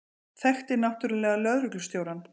Þekkti náttúrlega lögreglustjórann.